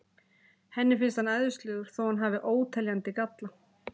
Henni finnst hann æðislegur þó að hann hafi óteljandi galla.